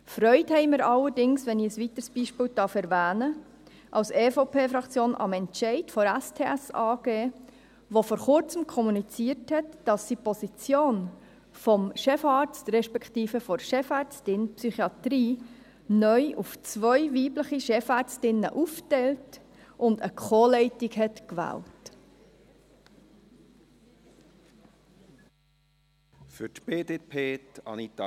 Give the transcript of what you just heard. Freude haben wir allerdings – wenn ich ein weiteres Beispiel erwähnen darf – am Entscheid der Spital Simmental-Thun-Saanenland AG (STS AG), welche vor Kurzem kommuniziert hat, dass sie die Position des Chefarztes respektive der Chefärztin Psychiatrie neu auf zwei weibliche Chefärztinnen aufteilt und eine Co-Leitung gewählt hat.